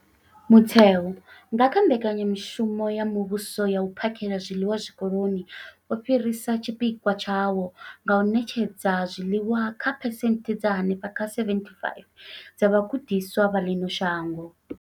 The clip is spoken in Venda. Mutheo, nga kha Mbekanya mushumo ya Muvhuso ya U phakhela zwiḽiwa Zwikoloni, wo fhirisa tshipikwa tshawo tsha u ṋetshedza zwiḽiwa kha phesenthe dza henefha kha 75 dza vhagudiswa vha ḽino shango.